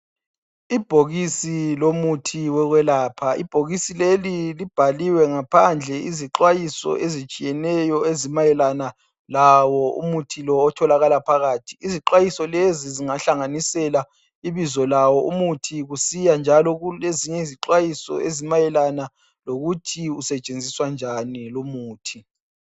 Ibhokisi lomuthi wokwelapha. Ibhokisi leli libhaliwe ngamaphandle izixwayiso ezitshiyeneyo ezimayelana lawo umuthi lo otholakala phakathi. Izixwayiso lezi zingahlanganisela ibizo lawo umuthi kusiya njalo kulezinye izixwayiso ezimayelana lokuthi usetshenziswa njani lumuthi.